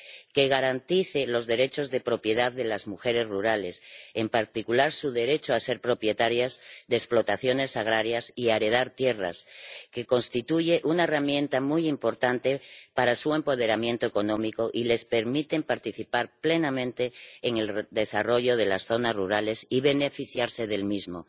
Y le recomendamos asimismo que garantice los derechos de propiedad de las mujeres rurales, en particular su derecho a ser propietarias de explotaciones agrarias y a heredar tierras, lo que constituye una herramienta muy importante para su empoderamiento económico y les permite participar plenamente en el desarrollo de las zonas rurales y beneficiarse del mismo